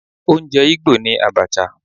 Oúnjẹ Igbo ni Abacha